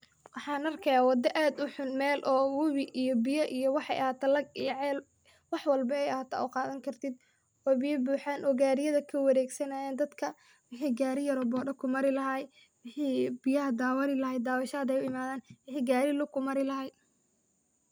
Waxaan arkayaa wadda aad u xun, meel oo wabi iyo biya iyo waxey ahaato lag iyo ceel .Wax walbo ay ahaato aad u qaadan kartid oo biya buxaan oo gaariyada ka waregsanayaan ,dadka wixi gaari yar oo boda ku mari lahaay ,wixi biyaha daawani lahaay daawasha hadey u imadaan .